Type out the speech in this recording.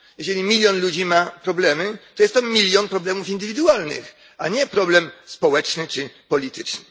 Jeżeli milion ludzi ma problemy, to jest to milion problemów indywidualnych, a nie problem społeczny czy polityczny.